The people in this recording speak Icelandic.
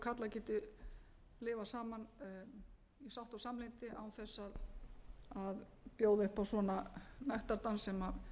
karlar geti lifað saman í sátt og samlyndi án þess að bjóða upp á svona nektardans sem